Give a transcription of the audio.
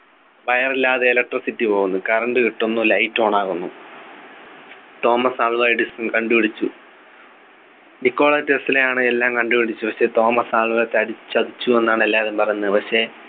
wire ഇല്ലാതെ electricity പോകുന്നു current കിട്ടുന്നു light on ആകുന്നു തോമസ് ആൽവ എഡിസൺ കണ്ടുപിടിച്ചു നിക്കോള ടെസ്ലെയാണ് എല്ലാം കണ്ടുപിടിച്ചത് പക്ഷെ തോമസ് ആൽവാ ചതി ചതിച്ചു എന്നാണ് എല്ലാവരും പറയുന്നത് പക്ഷെ